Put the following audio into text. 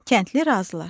Kəndli razılaşdı.